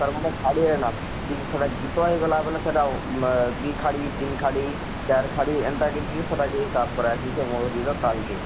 ତାର ମାନେ ଖାଡ଼ି ରେ ଲାଗସି ସେଟା ହେଇ ଗଲା ବଇଲେ ସେଟା ଆଃ ଦୁଇ ଖାଡ଼ି ତିନ ଖାଡ଼ି ଚାର ଖାଡ଼ି ଏନତା କରି ହିଁ ସେଟା କେ ହିସାବ କରା ହେସି ସେ ମହୁରୀର ତାଳ କେ?